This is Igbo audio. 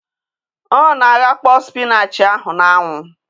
O na-aghakpo spinach ahụ na-anwụ